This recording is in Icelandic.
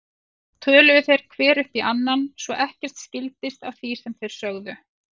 Svo töluðu þeir hver upp í annan svo ekkert skildist af því sem þeir sögðu.